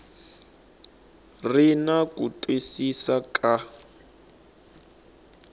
ri na ku twisisa ka